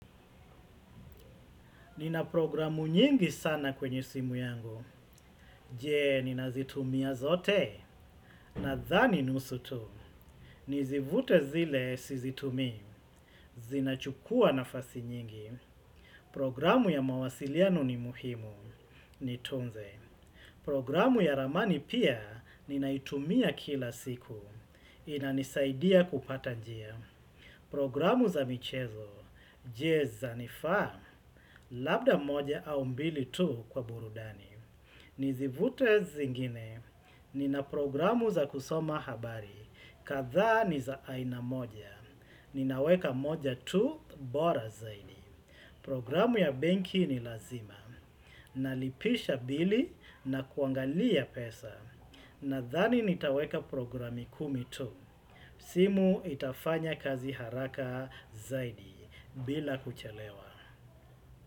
Nina programu nyingi sana kwenye simu yangu. Jee, nina zitumia zote. Nadhani nusu tu. Nizivute zile, si zitumii. Zinachukua nafasi nyingi. Programu ya mawasiliano ni muhimu. Ni tunze. Programu ya ramani pia, ninaitumia kila siku. Inanisaidia kupata njia. Programu za michezo. Jee, zanifaa. Labda moja au mbili tu kwa burudani. Nizivute zingine. Nina programu za kusoma habari. Kadhaa ni za aina moja. Ninaweka moja tu bora zaidi. Programu ya benki ni lazima. Nalipisha bili na kuangalia pesa. Nadhani nitaweka programi kumi tu. Simu itafanya kazi haraka zaidi. Bila kuchelewa.